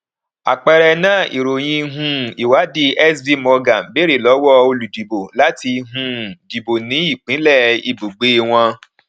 àpẹẹrẹ náà ìròyìn um ìwádìí sb morgen bèrè lọwọ olùdìbò láti um dìbò ní ìpínlẹ ibùgbé wọn